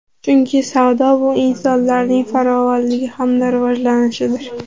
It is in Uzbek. Chunki savdo bu insonlarning farovonligi hamda rivojlanishidir.